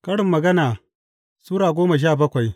Karin Magana Sura goma sha bakwai